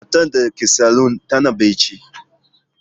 Matar da take salon tana bacci.